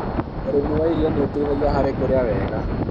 ũrĩmi wa irio nĩ ũteithagia harĩ kũrĩa wega